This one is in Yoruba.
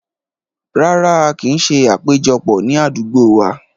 Rárá, a kin ṣé àpéjọpọ̀ ni àdúgbò wá.